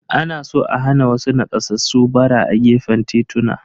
Ana so a hana wasu nakasassu ɓara a gefen tituna.